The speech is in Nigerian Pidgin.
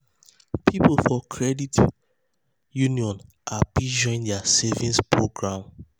people for credit people for credit union happy join their savings program.